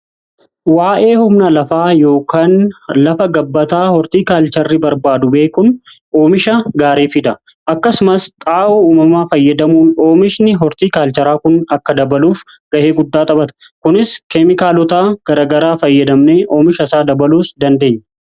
Waa'ee humnaa lafaa yookaan lafa gabbataa hortii kaalcharri barbaadu beekun oomisha gaarii fida. Akkasumas xaa'oo uumamaa fayyadamuu oomishni hortii kaalcharaa kun akka dabaluuf ga'ee guddaa xaphata kunis keemikaalotaa garagaraa fayyadamnee oomisha isaa dabaluu dandeenya.